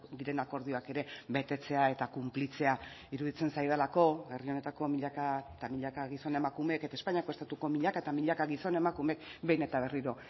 diren akordioak ere betetzea eta kunplitzea iruditzen zaidalako herri honetako milaka eta milaka gizon emakumeek eta espainiako estatuko milaka eta milaka gizon emakumeek behin eta berriro